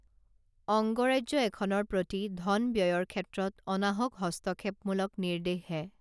অংগৰাজ্য এখনৰ প্ৰতি ধন ব্যয়ৰ ক্ষেত্ৰত অনাহক হস্তক্ষেপমূলক নিৰ্দেশহে